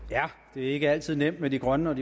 det er ikke altid nemt med de grønne